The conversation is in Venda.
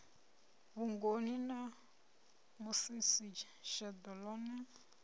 vhugoni na musisi sheḓo ḽone